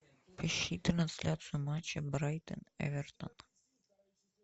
ищи трансляцию матча брайтон эвертон